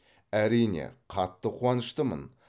әрине қатты қуаныштымын